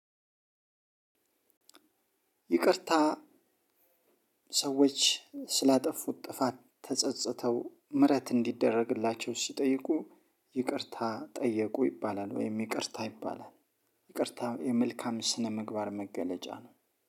ይቅርታ ሰዎች ስላጠፉት ጥፋት ተፀፅተው ምህረት እንዲደረግላቸው ሲጠይቁ፣ ይቅርታ ጠየቁ ይባላል፤ ወይም ይቅርታ ይባላል። ይቅርታ የመልካም ስነ-ምግባር መገለጫ ነው።